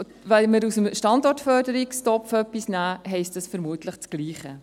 Wenn wir etwas aus dem Standortförderungstopf nehmen, heisst dies vermutlich das Gleiche.